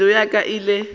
pelo ya ka e ile